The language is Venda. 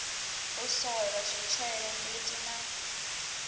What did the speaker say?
u sola zwitshele mbiti na